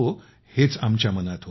हेच आमच्या मनात होतं